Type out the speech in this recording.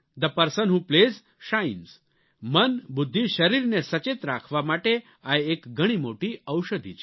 the person who plays shines મન બુદ્ધિ શરીરને સચેત રાખવા માટે આ એક ઘણી મોટી ઔષધિ છે